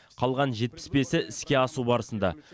қалған жетпіс бесі іске асу барысында